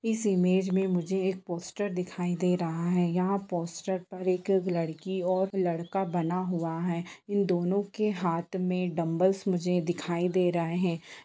इस इमेज में मुझे एक पोस्टर दिखाई दे रहा है यहाँ पोस्टर पर एक लड़की है और एक लड़का बना हुआ है इन दोनों के हाथ में डंम्बलस मुझे दिखाई दे रहा है।